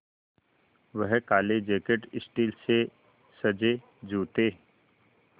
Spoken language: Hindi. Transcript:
वह काले जैकट स्टील से सजे जूते